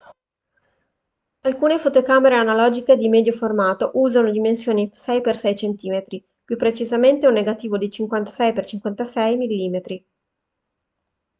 alcune fotocamere analogiche di medio formato usano dimensioni di 6x6 cm più precisamente un negativo di 56x56 mm